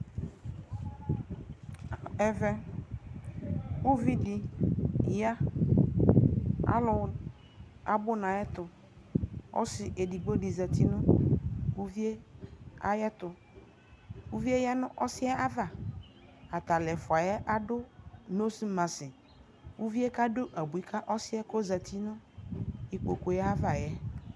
ɛvɛ ʋvi di ya, alʋ abʋ nʋ ayɛtʋ, ɔsii ɛdigbɔ di zati nʋ ʋviɛ ayɛtʋ, ʋviɛ yqnʋ ɔsiɛ ayava, atalɛ ɛƒʋɛ adʋ nose mask, ʋviɛ kadʋ abʋi ka ɔsiɛ kʋ ɔzatʋ nʋ ikpɔkʋɛ aɣaɛ